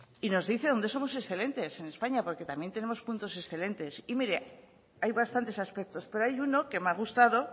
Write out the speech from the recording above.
y nos dice dónde somos excelentes en españa porque también tenemos puntos excelentes y mire hay bastantes aspectos pero hay uno que me ha gustado